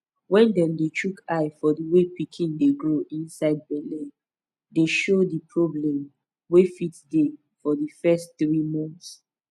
wen dem dey chook eye for the way pikin dey grow inside belle dey show di problem wey fit dey for di fess tiri mont